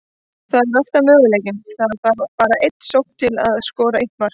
Það er alltaf möguleiki, það þarf bara eina sókn til að skora eitt mark.